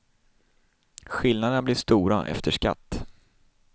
Skillnaderna blir stora, efter skatt.